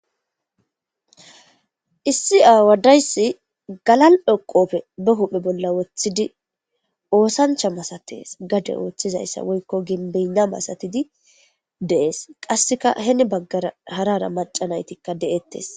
Issi awa deyissi galali'o qobbe baa huphe bolla wothidi ossanicha malatesi gadde othzayisa woyiko giyabena massatidi de'esi.qassika hini baggara hara hara macca nayiti betetesi.